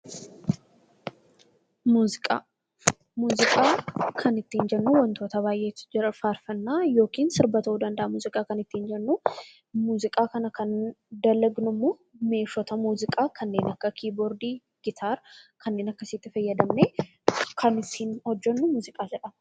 Muuziqaa kan ittiin jennu wantoota baay'eetu jira faarfannaa yookaan sirba ta'uu danda'a muuziqaan. Muuziqaa kana kan dalagnummoo meeshaalee muuziqaa kanneen akka kiiboordii, gitaar kanneen akkasittii fayyadamnee kan hojjannu muuziqaa jedhama.